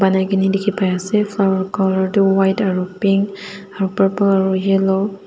dikhipaiase flower colour tu white aro pink aro purple aro yellow .